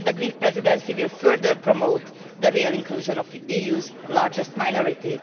We hope that the Greek Presidency will further promote the real inclusion of the EU's largest minority.